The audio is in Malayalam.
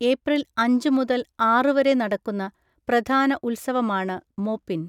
ഏപ്രിൽ അഞ്ച് മുതൽ ആറ് വരെ നടക്കുന്ന പ്രധാന ഉത്സവമാണ് മോപ്പിൻ.